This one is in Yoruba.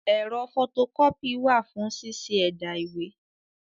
Ẹ̀rọ fọto kọ́pì wà fún ṣíṣẹ́ ẹ̀dà ìwé.